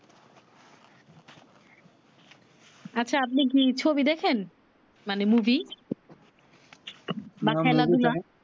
আচ্ছা আপনি কি ছবি দেখেন মানে মুভি বা খেলাধুলা